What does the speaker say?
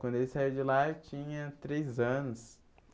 Quando ele saiu de lá eu tinha três anos.